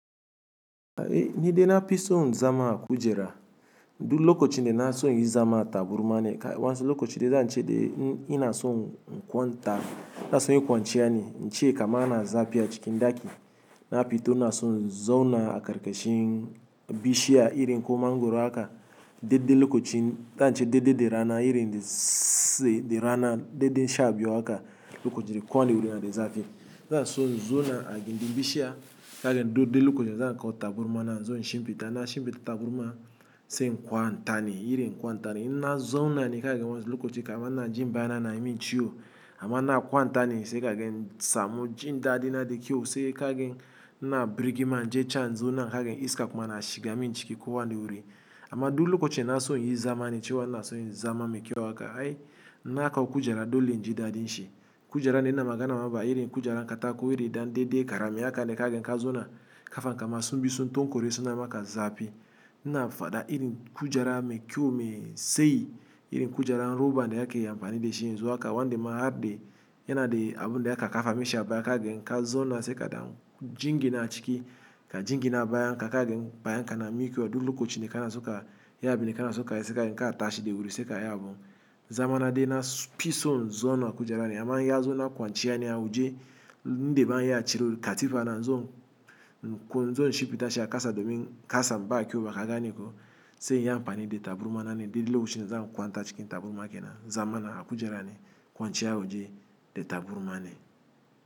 Ai ni de na pison zama a kujera, du lokochi de na son inyi zama a taburma ne, kai wa'ansu lokaci de zance de in ina son in kwanta, na son inyi kwanciya ne, ince kaman ana zapi acikin daki. Na pito ina son zauna akarkashin bishiya irin ko mangoro haka, dedde lokochi zance dedde de rana irin de se de rana dedde sha biyu haka lokoci de kowane wuri yana de zapi. Zan son in zona a gindin bishiya, kagen dudde lokoci de zankawo taburma na inzo in shimpita, ina shimpita taburma se in kwantane irin kwantane na zona ni kagen wanso lokoci kama ina jin baya na nayimin ciyo, amma ina kwantane se kagen, samu jin dadi na de kyau se kagen ina birigima inje can in zona kagen iska kuma na shiga min jiki kowani wuri. Amma du lokoci da na so in yi zamani cewa ina son in yi zama me kyau haka ai, in aka kujera dole inji dadin shi. Kujera de ina magana ma ba irin kujeran katako iri dan dedde karami haka ne kagen ka zona, kafan kama sun bi sun tokore suna maka zapi. Ina faɗa irin kujera me kyau me tsayi, irin kujeran roba da ake ampani de shi yenzu aka wande ma harde, yana de abu de aka kafa mishi a baya kagen inka zona se kadan jingina a ciki ka jingina bayanka kagen bayan ka na mikewa du lokoci de kana so ka yi abin da kana so kayi se kagen ka tashi de wuri se ka yi abun. Zamana de na pison in zona a kujerani amman in ya zo na kwanciya ne a wuje indi baya ciro katifa na in zo in zo in shimpita shi akasa domin kasam ba kyau ba ka gane ko, se inyi amfani de taburma na ne de lokoci de za kwanta cikin taburma ke nan zamana a kujera ni kwanciya wuje de taburma ne.